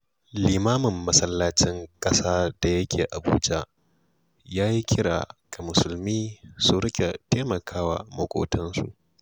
Limamin Masallacin Ƙasa da yake Abuja, ya yi kira ga Musulmi su riƙa taimaka wa maƙotansu.